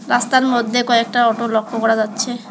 রাস্তার মধ্যে কয়েকটা অটো লক্ষ্য করা যাচ্ছে।